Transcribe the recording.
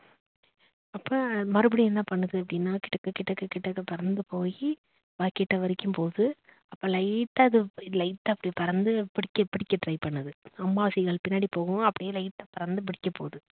அப்ப மறுபடியும் என்னா பண்ணுது அப்படினா கிடக்க கிடக்க கிடக்க பறந்து போய் அப்பா கிட்ட வரைக்கும் போகுது அப்ப light ட்டா அது light ஆ இப்படி பறந்து பிடிக்க பிடிக்க try பண்ணுது அம்மா seegal பிண்ணாடி போகவும் அப்படியே light ஆ பறந்து பிடிக்க போகுது.